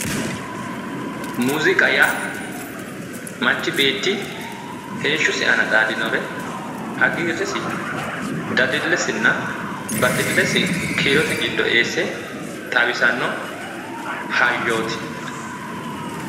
Muziiqa yaa manchi beetti heeshshosi aana xaadinnore hagiirresi dadillesina baxillesi kiirote giddo eesse xawisanno hayyooti .